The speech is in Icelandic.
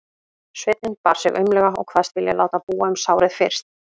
Sveinninn bar sig aumlega og kvaðst vilja láta búa um sárið fyrst.